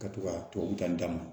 Ka to ka tubabu dan d'a ma